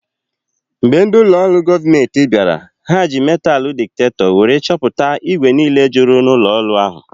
Mgbe ndị olu goomenti bịara, ha ji metalu diktakto wéré chọpụta igwe niile jụrụ n'ụlọ ọrụ ahụ